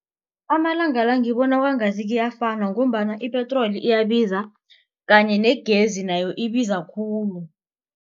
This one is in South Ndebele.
Amalanga la ngibona kwangathi kuyafana ngombana ipetroli iyabiza kanye negezi nayo ibiza khulu.